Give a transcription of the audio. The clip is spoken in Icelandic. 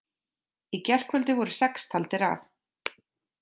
Í gærkvöldi voru sex taldir af